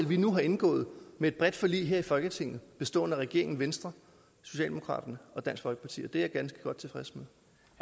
vi nu indgået i et bredt forlig om her i folketinget bestående af regeringen venstre socialdemokraterne og dansk folkeparti og det er jeg ganske godt tilfreds med